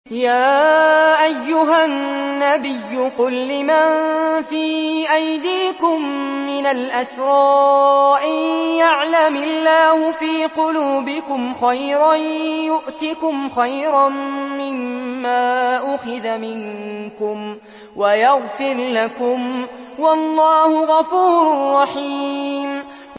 يَا أَيُّهَا النَّبِيُّ قُل لِّمَن فِي أَيْدِيكُم مِّنَ الْأَسْرَىٰ إِن يَعْلَمِ اللَّهُ فِي قُلُوبِكُمْ خَيْرًا يُؤْتِكُمْ خَيْرًا مِّمَّا أُخِذَ مِنكُمْ وَيَغْفِرْ لَكُمْ ۗ وَاللَّهُ غَفُورٌ رَّحِيمٌ